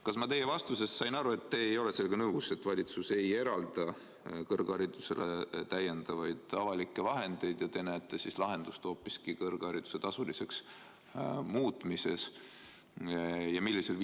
Kas ma sain teie vastusest õigesti aru, et te ei ole sellega nõus ja et valitsus ei eralda kõrgharidusele täiendavaid avalikke vahendeid ja te näete lahendust hoopis kõrghariduse tasuliseks muutmises?